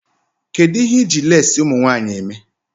Kedụ ihe iji leesi ụmụnwanyị eme?